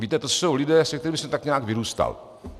Víte, to jsou lidé, se kterými jsem tak nějak vyrůstal.